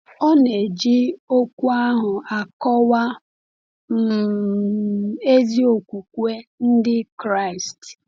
Ọ na-eji okwu ahụ akọwa um ezi okwukwe Ndị Kraịst.